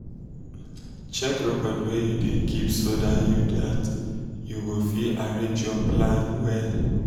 check record wey you da keep so dat you dat you go fit arrange your plan wella